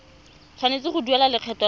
tshwanetse go duela lekgetho la